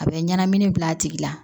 A bɛ ɲɛnamini bil'a tigi la